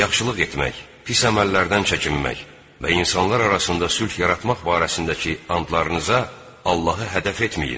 Yaxşılıq etmək, pis əməllərdən çəkinmək və insanlar arasında sülh yaratmaq barəsindəki andlarınıza Allahı hədəf etməyin.